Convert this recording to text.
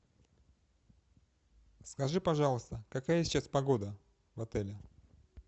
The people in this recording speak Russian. скажи пожалуйста какая сейчас погода в отеле